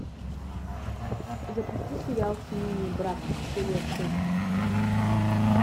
запусти сериал семейный брак серия шесть